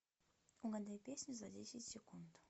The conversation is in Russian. угадай песню за десять секунд